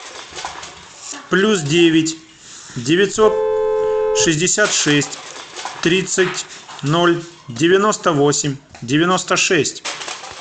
плюс девять девятьсот шестьдесят шесть тридцать ноль девяносто восемь девяносто шесть